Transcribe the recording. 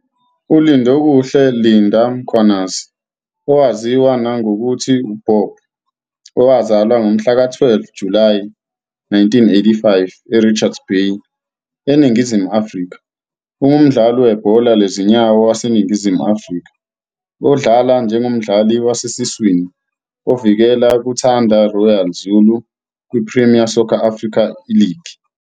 ULindokuhle "Linda" Mkhwanazi, owaziwa nangokuthi "Bob", owazalwa ngomhlaka 12 Julayi 1985 eRichards Bay, eNingizimu Afrika ungumdlali webhola lezinyawo waseNingizimu Afrika odlala njengomdlali wasesiswini ozivikela kuThanda Royal Zulu kwiPremier Soccer Africa Iligi.